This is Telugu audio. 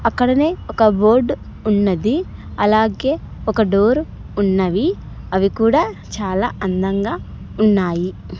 అక్కడనే ఒక బోర్డ్ ఉన్నది అలాగే ఒక డోర్ ఉన్నవి అవి కూడా చాలా అందంగా ఉన్నాయి.